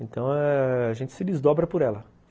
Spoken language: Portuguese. Então, a gente se desdobra por ela.